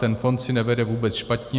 Ten fond si nevede vůbec špatně.